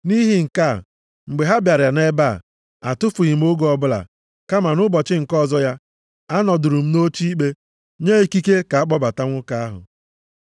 Nʼihi nke a, mgbe ha bịara nʼebe a, atụfughị m oge ọbụla, kama nʼụbọchị nke ọzọ ya, anọdụrụ m nʼoche ikpe, nye ikike ka a kpọbata nwoke ahụ.